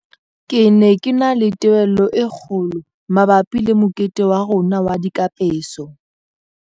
Ke ne ke na le tebello e kgo lo mabapi le mokete wa rona wa dikapeso.